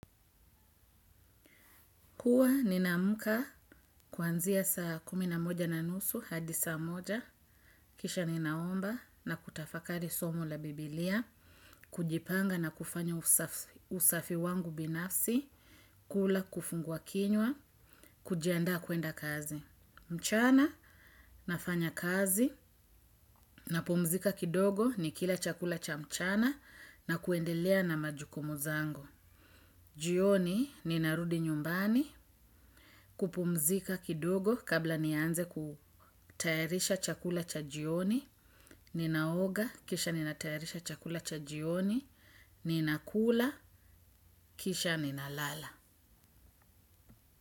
Huwa ninaamka kuanzia saa kumi na moja na nusu hadi saa moja, kisha ninaomba na kutafakari somo la biblia, kujipanga na kufanya usafi wangu binafsi, kula kifungua kinywa, kujiandaa kwenda kazi. Mchana nafanya kazi napumzika kidogo nikila chakula cha mchana na kuendelea na majukumu zangu. Jioni ninarudi nyumbani kupumzika kidogo kabla nianze kutayarisha chakula cha jioni, ninaoga kisha ninatayarisha chakula cha jioni, ninakula kisha ninalala.